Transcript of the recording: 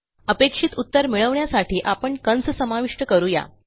अपेक्षित उत्तर मिळवण्यासाठी आपण कंस समाविष्ट करू या